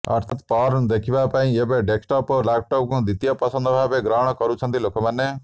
ଅର୍ଥାତ୍ ପର୍ଣ୍ଣ ଦେଖିବା ପାଇଁ ଏବେ ଡେସ୍କଟପ ଓ ଲାପଟପକୁ ଦ୍ୱିତୀୟ ପସନ୍ଦ ଭାବେ ଗ୍ରହଣ କରୁଛନ୍ତି ଲୋକମାନେ